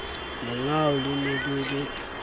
lengau le ne le le